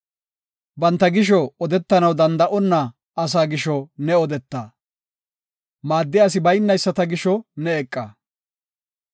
Banta gisho odetanaw danda7onna asaa gisho ne odeeta; maaddiya asi baynayisata gisho ne eqa.